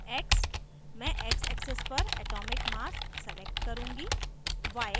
x: mass xaxis पर atomic mass select करुँगी